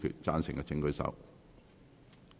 贊成的請舉手。